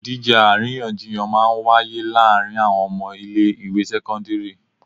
Ìdíje àríyànjiyàn máa ń wáyé láàárín àwọn ọmọ ilé ìwé sẹ́kọ́ńdírì.